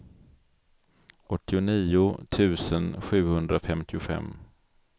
åttionio tusen sjuhundrafemtiofem